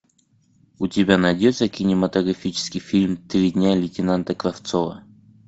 у тебя найдется кинематографический фильм три дня лейтенанта кравцова